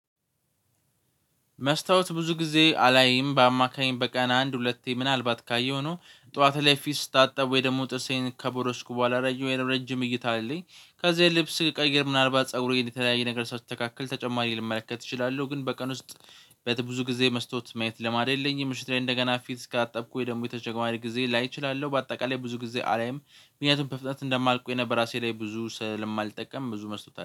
መስታወት ብዙ ጊዜ አላይም በአማካኝ በቀን አንድ ሁለቴ ምናልባት ካየሁ ነው ጠዋት ላይ ፊት ስታጠብ ወይ ደግሞ ጥርሴን ከቦረሽኩ በኋላ ረጅም እይታ አለኝ ከዛ ልብስ ቀይር ምናልባት ፀጉሬ የተለያየ ነገር ሳስተካክል ተጨማሪ ልመለከት እችላለሁ ግን በቀን ውስጥ ብዙ ጊዜ መስታወት ማየት ልማድ የለኝም። ምሽት ላይ እንደገና ፊት እስካጠብኩ ወይ ደግሞ የተጨማሪ ጊዜ ላይ እችላለሁ በአጠቃላይ ብዙ ጊዜ አላይም። ምክንያቱም በፍጥነት እንደማል ነበር ራሴ ላይ ብዙ ስለማልጠቀም ብዙ መስታወት